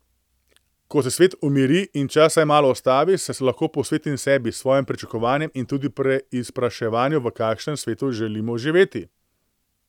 Ko se svet umiri in čas vsaj malo ustavi, se lahko posvetimo sebi, svojim pričakovanjem in tudi preizpraševanju, v kakšnem svetu želimo živeti.